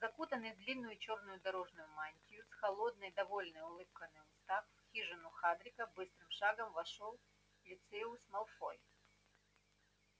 закутанный в длинную чёрную дорожную мантию с холодной довольной улыбкой на устах в хижину хагрида быстрым шагом вошёл люциус малфой